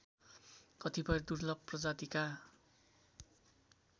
कतिपय दुर्लभ प्रजातिका